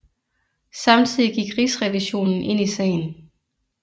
Samtidig gik Rigsrevisionen ind i sagen